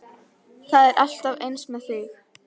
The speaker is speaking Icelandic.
Það er alltaf eins með þig!